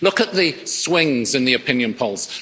look at the swings in the opinion polls